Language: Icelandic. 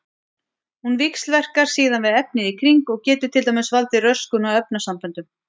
Hún víxlverkar síðan við efnið í kring og getur til dæmis valdið röskun á efnasamböndum.